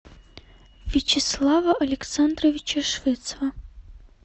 вячеслава александровича швецова